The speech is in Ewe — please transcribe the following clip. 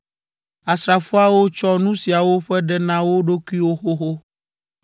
Asrafoawo tsɔ nu siawo ƒe ɖe na wo ɖokuiwo xoxo.